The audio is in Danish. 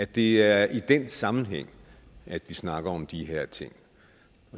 det er i den sammenhæng vi snakker om de her ting